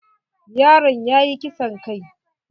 Yaron yayi kisan kai.